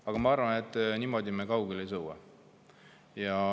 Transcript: Aga ma arvan, et niimoodi me kaugele ei sõua.